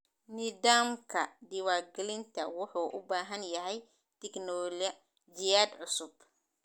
Nidaamka diiwaangelinta wuxuu u baahan yahay tignoolajiyad cusub.